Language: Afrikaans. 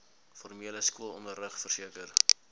formele skoolonderrig verseker